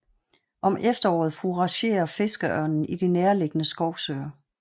Om efteråret fouragerer fiskeørnen i de nærliggende skovsøer